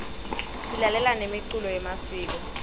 silalela nemicuco yemasiko